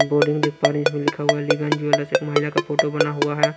Boarding देख पा रहे हैं जिसमें लिखा हुआ है अलीगंज एक महिला का फोटो बना हुआ है।